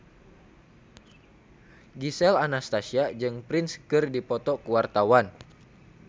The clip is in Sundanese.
Gisel Anastasia jeung Prince keur dipoto ku wartawan